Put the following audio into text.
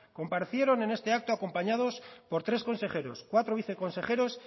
comparecieron en este acto acompañados por tres consejeros cuatro viceconsejeros